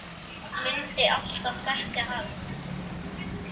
Mundi alltaf þekkja hann.